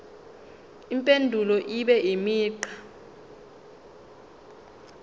impendulo ibe imigqa